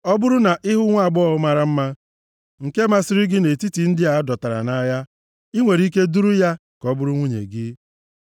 ọ bụrụ na ị hụ nwaagbọghọ mara mma nke masịrị gị nʼetiti ndị a dọtara nʼagha, i nwere ike iduru ya ka ọ bụrụ nwunye gị.